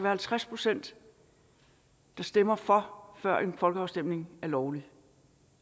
halvtreds pct der stemmer for før en folkeafstemning er lovlig